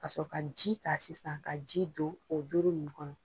Ka sɔrɔ ka ji ta sisan ka ji don o doro nunnu kɔnɔ.